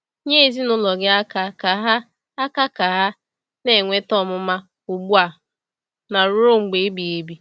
Nye ezinụlọ gị aka ka ha aka ka ha na-enweta ọmụma ugbu a na ruo mgbe ebighị ebi.